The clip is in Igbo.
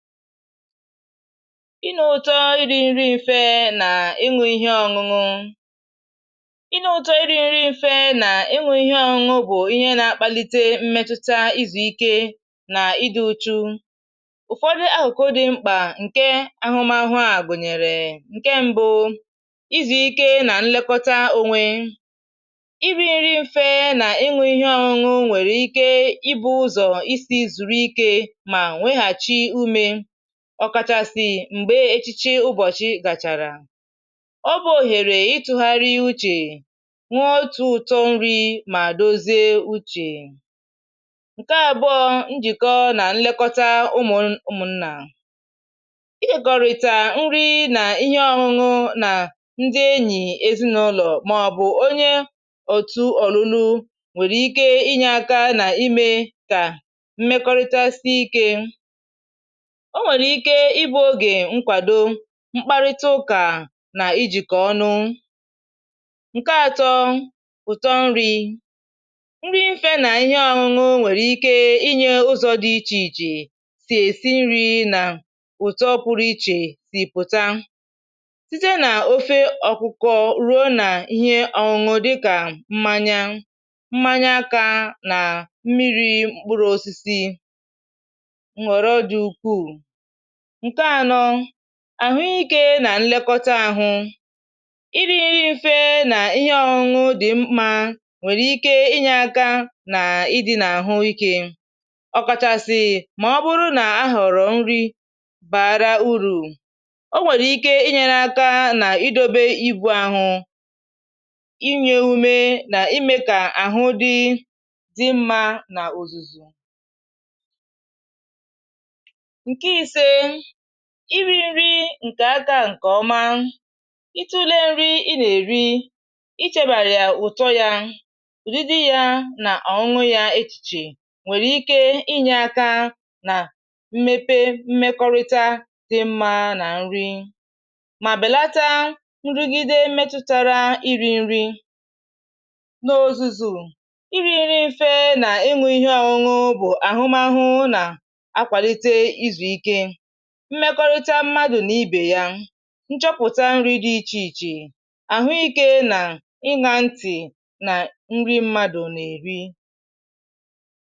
ịnụ ụtọ iri nri mfe na inwė ihe ọṅụṅụ bụ ihe na-akpalite mmetuta izu ike na idu ụ̀chù. Ụfọdụ ahụkwado mkpa nke ahụmahụ a gụnyere nke mbụ, izu ike na nlekọta onwe, ọkàchàsị̀ m̀gbè echiche ụbọ̀chị gàchàrà, ọ bụ̇ òhèrè ịtụ̇gharị uchè, nwe otu̇ ụ̀tọ nri, mà dozie uchè. Ǹkè àbụọ bụ njìkọ nà nlekọta ụmụ̀nà — ịgọ̀rị̀tà nri nà ihe ọṅụṅụ nà ndị enyì, ezinụlọ̀, màọ̀bụ̀ onye òtù ọ̀rụ̀rụ, nwèrè ike inyė aka nà imė kà mmekọrịta sie ike. O nwèrè ike ịbụ̇ ogè nkwàdo, um mkparịta ụkà nà ijìkọ̀ ọnụ. Ǹkè atọ bụ ụ̀tọ nri̇ — nri mfe nà ihe ọ̀ṅụṅụ nwèrè ike inyė ụzọ̇ dị iche iche sì èsi nri̇, nà ụ̀tọ pụrụ iche, sì pụ̀ta site nà ofe ọkụ̀kọ̀ rùo nà ihe ọ̀ṅụ̀ dịkà mmanya, mmanya akȧ, nà mmiri̇ mkpụrụ̇ osisi nwèrè dị ukwù. Ǹkè ànọ bụ àhụ ikė nà nlekọta àhụ — iri̇ nri mfe nà ihe ọṅụṅụ dị̀ mkpa, nwèrè ike inyė aka nà ịdị̇ nà àhụ ikė, ọkàchàsịì mà ọ bụrụ nà a họ̀rọ̀ nri barȧ urù, o nwèrè ike inyė aka nà idobe ibù àhụ̇, inyė ume nà imė kà àhụ dị mmȧ nà òzùzù. Iri̇ nri ǹkè aka ǹkè ọma, itùle nri ị nà-èri, ichėbàrì yà ùtọ yȧ, ùdidi yȧ nà ònwu yȧ, echìchè nwèrè ike inyė àtà nà mmepe mmekọrịta dị mmȧ nà nri, mà bèlata nrugide mmetutara. Iri̇ nri n’ozùzù, iri̇ nri mfe nà enwėghị ihe ọṅụṅụ bụ̀ àhụmahụ nà akwàlite izù ike, mmekọrịta mmadụ na ibè ya, nchọpụta nri dị iche iche, ahụike nà ịnha ntị na nri mmadụ na-èri.